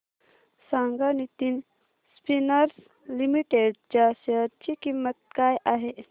सांगा Nitin spinners limited च्या share ची किंमत काय आहे